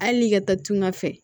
Hali n'i ka taa tunga fɛ